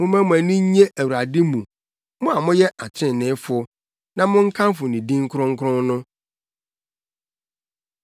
Momma mo ani nnye Awurade mu, mo a moyɛ atreneefo, na monkamfo ne din kronkron no.